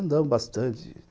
Andamos bastante.